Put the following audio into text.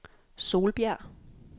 Solbjerg